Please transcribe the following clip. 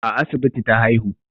A asibiti ta haihu